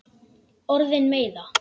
Orðin meiða.